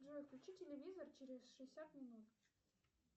джой включи телевизор через шестьдесят минут